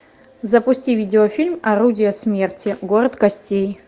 запусти видеофильм орудие смерти город костей